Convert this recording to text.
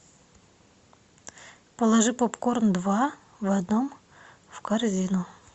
положи попкорн два в одном в корзину